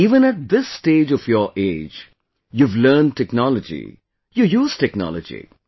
Even at this stage of age, you have learned technology, you use technology